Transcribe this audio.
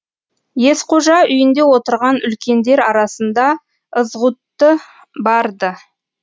есқожа үйінде отырған үлкендер арасында ызғұтты бар ды